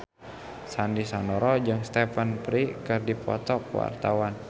Sandy Sandoro jeung Stephen Fry keur dipoto ku wartawan